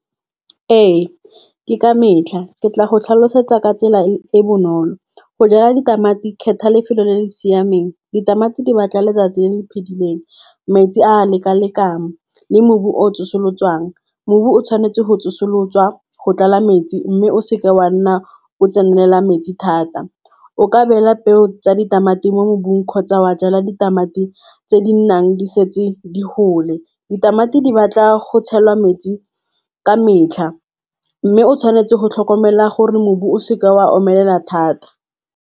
Ee ke ka metlha ke tla go tlhalosetsa ka tsela e e bonolo. Go jala ditamati, kgetha lefelo le le siameng. Ditamati di batla letsatsi le le phidileng, metsi a leka-lekano le mobu o tsosoloswang, Mobu o tshwanetse go tsosolosiwa, go tlala metsi mme o seka wa nna o tsenela metsi thata. O ka beela peo tsa ditamati mo mobung, kgotsa wa jala ditamati tse di nnang di . Ditamati di batla go tshela metsi ka metlha mme o tshwanetse go tlhokomela gore mobu o seka wa omelela thata.